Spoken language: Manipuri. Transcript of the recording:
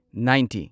ꯅꯥꯢꯟꯇꯤ